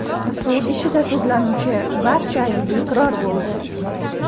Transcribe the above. Sud ishida sudlanuvchi barcha aybiga iqror bo‘ldi.